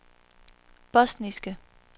bosniske